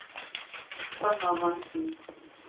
Ragnar Hansen